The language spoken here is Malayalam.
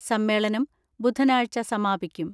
സമ്മേളനം ബുധ നാഴ്ച സമാപിക്കും.